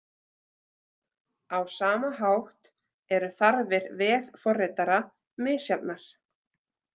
Á sama hátt eru þarfir vefforritara misjafnar.